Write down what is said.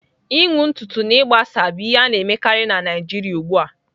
Ịnwụ ntutu na ịgbasa bụ ihe a na-emekarị na Naijiria ugbu a.